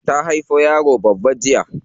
Ta haifo yaro babba jiya.